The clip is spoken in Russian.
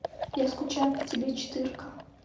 я скучаю по тебе четырка